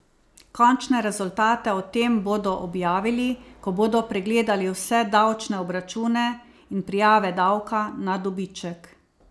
Končne rezultate o tem bodo objavili, ko bodo pregledali vse davčne obračune in prijave davka na dobiček.